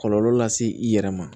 Kɔlɔlɔ lase i yɛrɛ ma